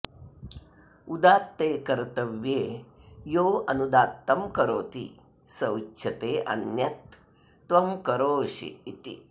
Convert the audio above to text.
उदात्ते कर्तव्ये यो ऽनुदात्तं करोति स उच्यते अन्यत् त्वं करोषि इति